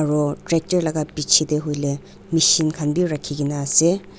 aro tractor laga piche te hoile machine khan bi rakhi kena ase.